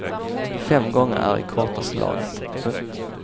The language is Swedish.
Fem gånger är i kortaste laget. punkt